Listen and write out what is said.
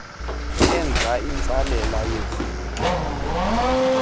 enza intsalela yeeveki